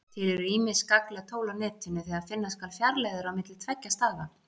Til eru ýmis gagnleg tól á Netinu þegar finna skal fjarlægðir á milli tveggja staða.